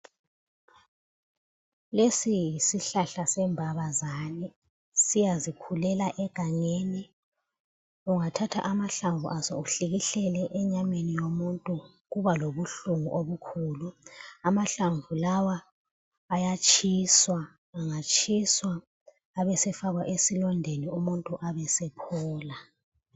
Lesi yisihlahla sembabazane, siyazikhulela egangeni . Ungathatha amahlamvu aso uhlikihlele enyameni yomuntu kuba lobuhlungu obukhulu. Amahlamvu lawa ayatshiswa angatshiswa abe sefakwa esilondeni umuntu abe esephola